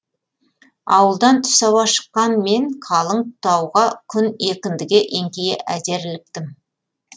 ауылдан түс ауа шыққан мен қалың тауға күн екіндіге еңкейе әзер іліктім